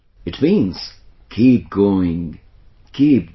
It means keep going, keep going